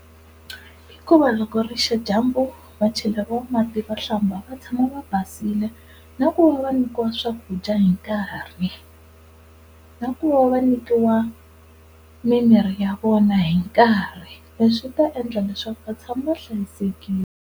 Hikuva loko ri xa dyambu va cheleriwa mati va hlamba va tshama va basile na ku va nyikiwa swakudya hi nkarhi. Na ku va va nyikiwa mimirhi ya vona hi nkarhi leswi swi ta endla leswaku va tshama va hlayisekile.